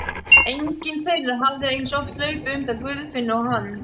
Enginn þeirra hafði eins oft hlaupið undan Guðfinnu og hann.